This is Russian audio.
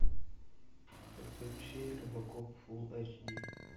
подключи робокоп фулл айч ди